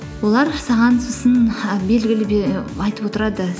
олар саған сосын і айтып отырады